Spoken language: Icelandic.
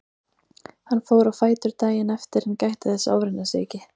Hann fór á fætur daginn eftir en gætti þess að ofreyna sig ekki.